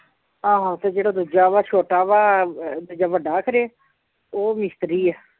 ਆਹੋ ਤੇ ਜਿਹੜਾ ਦੂਜਾ ਵਾ ਛੋਟਾ ਵਾ ਜਾਂ ਵੱਡਾ ਖਰੇ ਉਹ ਮਿਸਤਰੀ ਆ